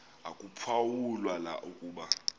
akuphawu la ukuba